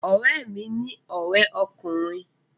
Ọ̀rẹ́ mi ní ọrẹ ọkùnrin